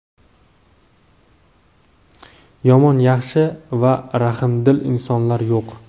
Yomon, yaxshi va rahmdil insonlar yo‘q.